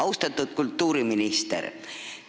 Austatud kultuuriminister!